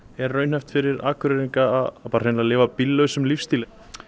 er raunhæft fyrir Akureyringa að bara hreinlega lifa bíllausum lífstíl